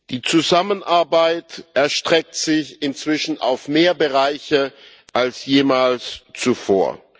Die Zusammenarbeit erstreckt sich inzwischen auf mehr Bereiche als jemals zuvor.